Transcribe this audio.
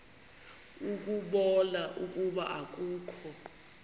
ukubona ukuba akukho